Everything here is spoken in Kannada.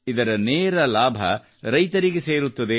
ಇದರ ನೇರ ಲಾಭ ರೈತರಿಗೆ ಸೇರುತ್ತದೆ